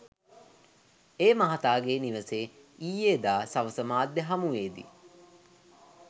ඒ මහතාගේ නිවසේ ඊයේදා සවස මාධ්‍ය හමුවේදී